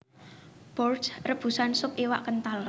Bourride rebusan sup iwak kental